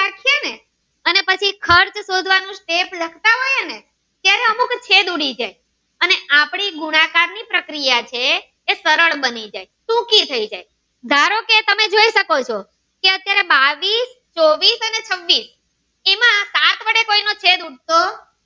છેદ ઉડી જાય અને આપડી આકાર ની પ્રક્રિયા છે એ સરળ મળી જાત ટૂંકી થઈ જાય ધારો કે તમે જોઈ શકો ચો કે અત્યારે બાવીસ ચોકીસ અને છવ્વીસ એમાં સાત વડે કોઈ નો છેદ નથી ઉડતો